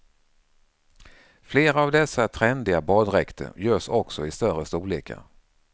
Flera av dessa trendiga baddräkter görs också i större storlekar.